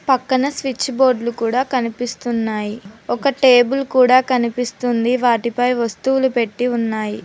పక్కన స్విచ్ బోర్డులు కూడా కనిపిస్తున్నాయి ఒక టేబుల్ కూడా కనిపిస్తుంది వాటిపై వస్తువులు పెట్టి ఉన్నాయి.